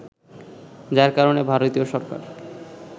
যার কারণে ভারতীয় সরকার